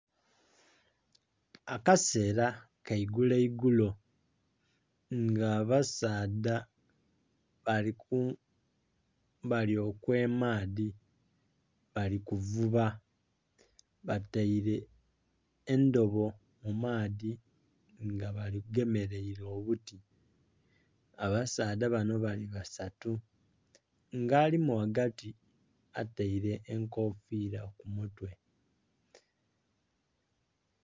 Akaseela ka igulo igulo nga abasaadha bali okw'emaadhi, bali kuvuba. Bataile endobo mu maadhi nga bagemeleile obuti. Abasaadha bano bali basatu, nga alimu ghagati ataile enkofiila ku mutwe.